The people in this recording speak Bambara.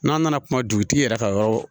N'a nana kuma dugutigi yɛrɛ ka yɔrɔ